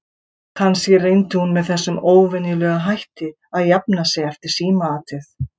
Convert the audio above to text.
Kannski reyndi hún með þessum óvenjulega hætti að jafna sig eftir símaatið.